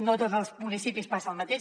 no a tots els municipis passa el mateix